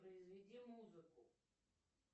произведи музыку